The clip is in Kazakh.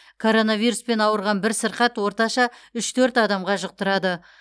коронавируспен ауырған бір сырқат орташа үш төрт адамға жұқтырады